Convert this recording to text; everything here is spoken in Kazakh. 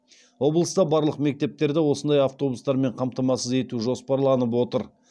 облыста барлық мектептерді осындай автобустармен қамтамасыз ету жоспарланып отыр